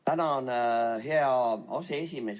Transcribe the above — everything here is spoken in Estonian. Tänan, hea aseesimees!